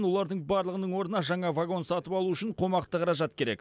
олардың барлығының орнына жаңа вагон сатып алу үшін қомақты қаражат керек